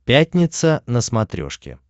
пятница на смотрешке